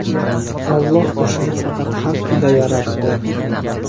Alloh o‘shani faqat haq ila yaratdi.